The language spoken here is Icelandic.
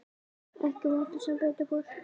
Ekki vottur sem betur fór.